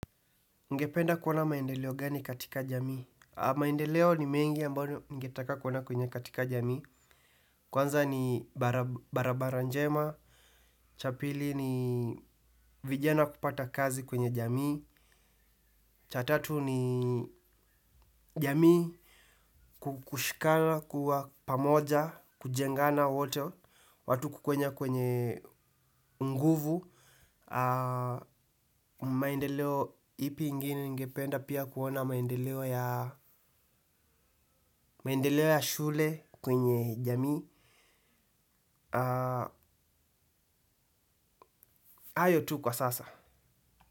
Ningependa kuona maendeleo gani katika jamii. Maendeleo ni mengi ambayo ningetaka kuona kwenye katika jamii. Kwanza ni barabara njema. Cha pili ni vijana kupata kazi kwenye jamii. Cha tatu ni jamii kushikana kuwa pamoja, kujengana wote, watu kwenye nguvu. Maendeleo ipi ingine ningependa pia kuona maendeleo ya shule kwenye jamii. Hayo tu kwa sasa.